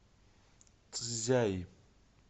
цзяи